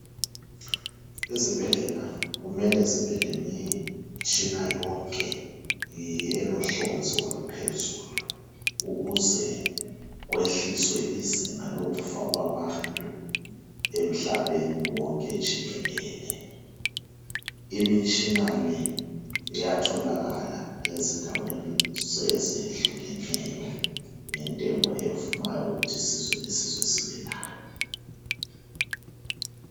Izbhedlela kumele zibe lemitshina yonke elohlonzi oluphezulu, ukuze kwehliswe izinga lokufa kwabantu emhlabeni wonke jikelele. Imitshina le iyatholakala ezindaweni ezehlukeneyo ngentengo evumayo ukuth' isizwe lesizwe sibe layo.